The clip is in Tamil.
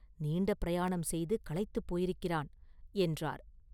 நீண்ட பிரயாணம் செய்து களைத்துப் போயிருக்கிறான்” என்றார்.